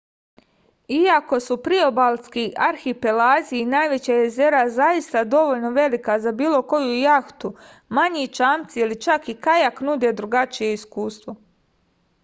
iako su priobalski arhipelazi i najveća jezera zaista dovoljno velika za bilo koju jahtu manji čamci ili čak i kajak nude drugačije iskustvo